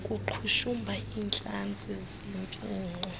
kuqhushumba iintlantsi zempixo